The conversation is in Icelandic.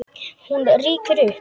Hún rýkur upp.